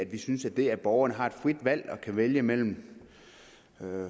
vi synes at det at borgerne har et frit valg og kan vælge mellem